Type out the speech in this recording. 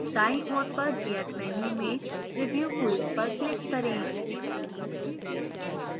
दायीं ओर पर gear menu में preview quiz पर click करें